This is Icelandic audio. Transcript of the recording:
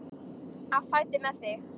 Á fætur með þig!